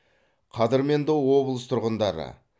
қадірменді облыс тұрғындары